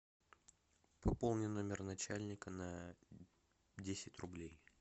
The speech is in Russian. пополни номер начальника на десять рублей